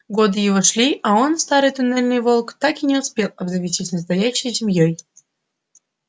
годы его шли а он старый туннельный волк так и не успел обзавестись настоящей семьёй